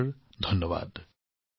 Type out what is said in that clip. নমস্কাৰ ধন্যবাদ